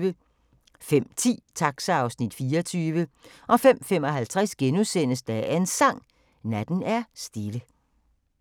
05:10: Taxa (Afs. 24) 05:55: Dagens Sang: Natten er stille *